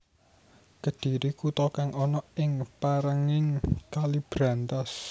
Kedhiri kuta kang ana ing pèrènging Kali Brantas